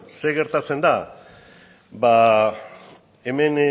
zer gertatzen da ba hemen